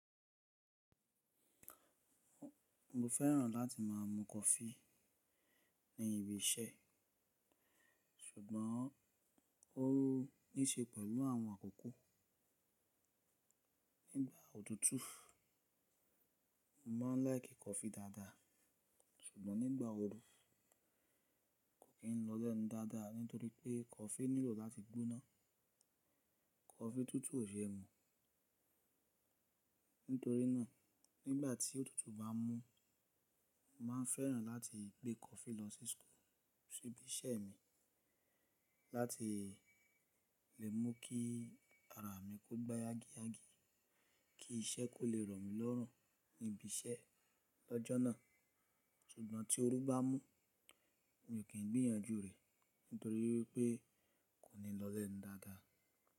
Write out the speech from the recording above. Mo fẹ́ràn láti má a mu coffee ní ibi iṣẹ́ ṣùgbọ́n ó ní ṣe pẹ̀lú àwọn àkókò. Nígbà òtútù mo máa ń láìkì coffee dáadáa ṣùgbọ́n nígbà ooru kò kí n lọlẹ̀ ńu dáadáa nítorí pé coffee nílò láti gbóná. Coffee tútù ò se mu. Nítorínà nígbà tí òtútù bá mú, mo máa ń fẹ́ràn láti gbé coffee lọ sí school sí ibi iṣẹ́ mi láti lè mú kí ara mi kó gbá yági yági kí iṣẹ́ kò lè rọ̀ mí lọ́rùn níbi iṣẹ́ lọ́jọ́ náà ṣùgbọ́n tí ooru bá mú mi kò kí n gbìyànjú rẹ̀ nítorí pé kò ní lọlẹ̀ ńu dáadáa.